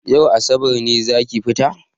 Yau asabar ne zaki fita?